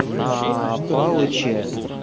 на палыча